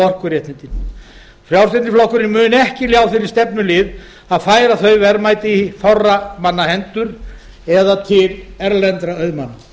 orkuréttindin frjálslyndi flokkurinn mun ekki ljá þeirri stefnu lið að færa þau verðmæti á fárra manna hendur eða til erlendra auðmanna